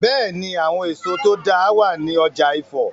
Bẹ́è ni, àwọn èso tó dáa wàá ní ọ̀jà Ifọ̀.